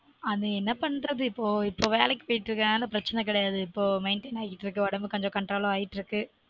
அது என்ன பண்றது இபொ இப்பொ வேலைக்கு போய்ட்டு இருக்குறதுனால பிரச்சனை கிடையாது இப்பொ maintain ஆகிட்டு இருக்கு உடம்பு கொஞ்சம் control ம் ஆகிட்டு இருக்கு